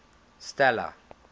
stella